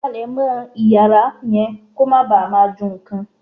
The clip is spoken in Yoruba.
Palemọ́ Ìyàrá yẹn kó má bàa máa ju nǹkan.